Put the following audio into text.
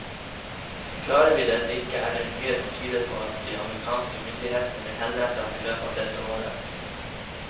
Klarer vi det ikke, er det mye som tyder på at de amerikanske myndighetene vil henrette ham i løpet av dette året.